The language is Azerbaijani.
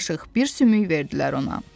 Bir qaşıq, bir sümük verdilər ona.